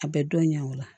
A bɛ dɔn ɲɛ o la